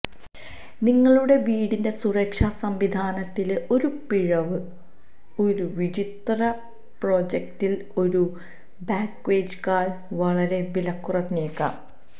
നിങ്ങളുടെ വീടിന്റെ സുരക്ഷാ സംവിധാനത്തിലെ ഒരു പിഴവ് ഒരു വിചിത്ര പ്രോജക്ടിൽ ഒരു ബഗ്നേക്കാൾ വളരെ വിലകുറഞ്ഞേക്കാം